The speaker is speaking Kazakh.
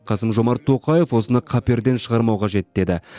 қасым жомарт тоқаев осыны қаперден шығармау қажет деді